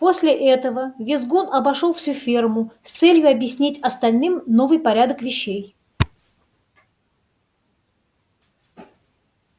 после этого визгун обошёл всю ферму с целью объяснить остальным новый порядок вещей